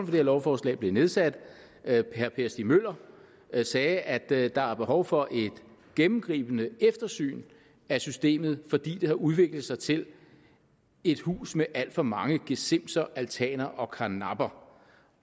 her lovforslag blev nedsat herre per stig møller sagde at der der var behov for et gennemgribende eftersyn af systemet fordi det havde udviklet sig til et hus med alt for mange gesimser altaner og karnapper